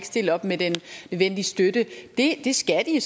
stille op med den nødvendige støtte det skal de